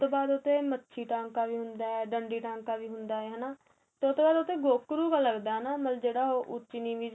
ਉਹ ਤੋ ਬਾਅਦ ਉਥੇ ਮੱਛੀ ਟਾਂਕਾ ਹੁੰਦਾ ਏ ਡੰਡੀ ਟਾਂਕਾ ਵੀ ਹੁੰਦਾ ਏ ਹੈਨਾ ਤੇ ਉਹ ਤੋ ਬਾਅਦ ਮਤਲਬ ਜਿਹੜਾ ਉਹ ਉੱਚੀ ਨੀਵੀ